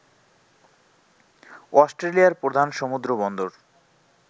অস্ট্রেলিয়ার প্রধান সমুদ্র বন্দর